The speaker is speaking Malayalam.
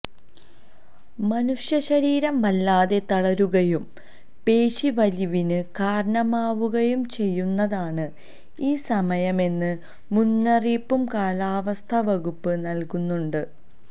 മനുഷ്യശരീരം വല്ലാതെ തളരുകയും പേശീവലിവിന് കാരണമാവുകയും ചെയ്യുന്നതാണ് ഈ സമയമെന്ന മുന്നറിയിപ്പും കാലാവസ്ഥാ വകുപ്പ് നല്കുന്നുണ്ട്